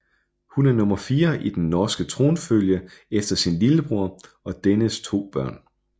Hun er nummer fire i den norske tronfølge efter sin lillebror og dennes to børn